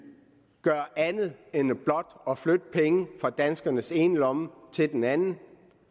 gøre andet end blot at flytte penge fra danskernes ene lomme til den anden